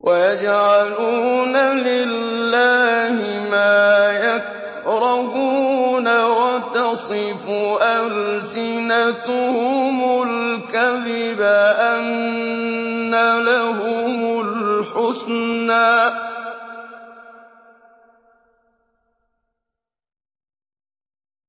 وَيَجْعَلُونَ لِلَّهِ مَا يَكْرَهُونَ وَتَصِفُ أَلْسِنَتُهُمُ الْكَذِبَ أَنَّ لَهُمُ الْحُسْنَىٰ ۖ